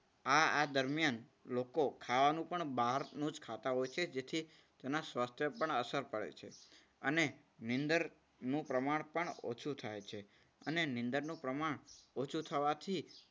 આ આ દરમિયાન લોકો ખાવાનું પણ બહારનું જ ખાતા હોય છે. જેથી તેના સ્વાસ્થ્ય પર અસર પડે છે. અને નીંદર નું પ્રમાણ પણ ઓછું થાય છે. અને નીંદર નું પ્રમાણ ઓછું થવાથી